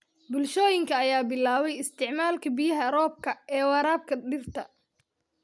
Bulshooyinka ayaa bilaabay isticmaalka biyaha roobka ee waraabka dhirta.